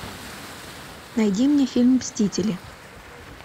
найди мне фильм мстители